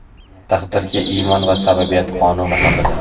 Taqdirga iymon va sababiyat qonuni haqida.